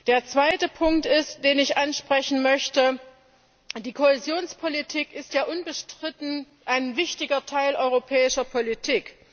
Der zweite Punkt, den ich ansprechen möchte Die Kohäsionspolitik ist ja unbestritten ein wichtiger Teil europäischer Politik.